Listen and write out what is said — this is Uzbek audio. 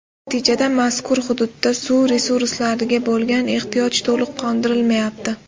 Natijada mazkur hududda suv resurslariga bo‘lgan ehtiyoj to‘liq qondirilmayapti.